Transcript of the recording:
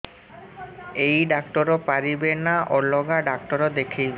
ଏଇ ଡ଼ାକ୍ତର ପାରିବେ ନା ଅଲଗା ଡ଼ାକ୍ତର ଦେଖେଇବି